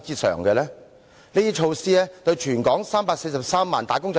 怎樣還富於全港343萬名"打工仔"呢？